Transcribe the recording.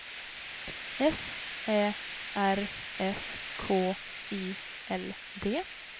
S Ä R S K I L D